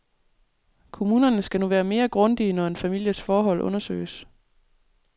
Kommunerne skal nu være mere grundige, når en families forhold undersøges.